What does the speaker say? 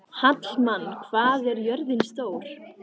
Hallmann, hvað er jörðin stór?